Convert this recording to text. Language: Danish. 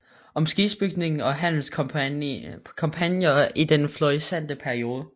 Om skibsbygning og handelskompagnier i den florissante periode